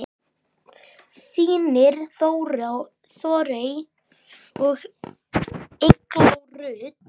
Þínar Þórey og Eygló Rut.